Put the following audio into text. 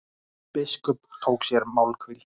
Biskup tók sér málhvíld.